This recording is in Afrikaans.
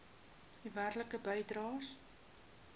u werklike bydraes